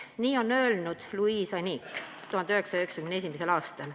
" Nii on öelnud Louise Anike 1991. aastal.